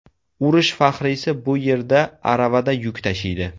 Urush faxriysi bu yerda aravada yuk tashiydi.